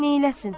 Neyləsin?